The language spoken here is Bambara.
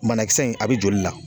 Banakisɛ in a be joli la